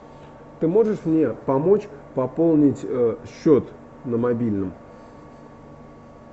ты можешь мне помочь пополнить счет на мобильном